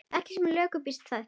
Ekki sem lökust býti það.